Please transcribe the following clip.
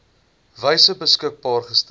wyse beskikbaar gestel